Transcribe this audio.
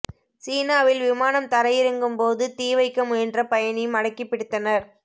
சீனாவில் விமானம் தரை இறங்கும் போது தீ வைக்க முயன்ற பயணி மடக்கிப் பிடித்தனர்